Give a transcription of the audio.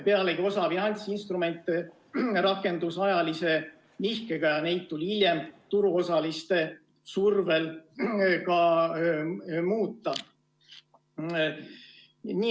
Pealegi osa finantsinstrumente rakendus ajalise nihkega ja neid tuli hiljem turuosaliste survel ka muuta.